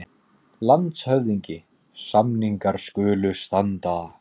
LANDSHÖFÐINGI: Samningar skulu standa.